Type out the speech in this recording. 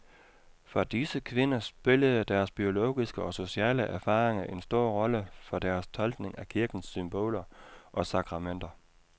For disse kvinder spillede deres biologiske og sociale erfaringer en stor rolle for deres tolkning af kirkens symboler og sakramenter.